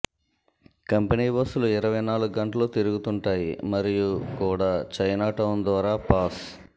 company బస్సులు ఇరవై నాలుగు గంటలూ తిరుగుతుంటాయి మరియు కూడా చైనాటౌన్ ద్వారా పాస్